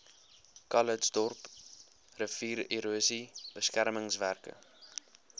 calitzdorp riviererosie beskermingswerke